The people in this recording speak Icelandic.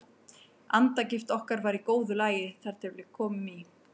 Andagift okkar var í góðu lagi þar til við komum í